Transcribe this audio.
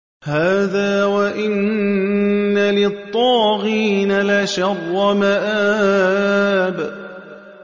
هَٰذَا ۚ وَإِنَّ لِلطَّاغِينَ لَشَرَّ مَآبٍ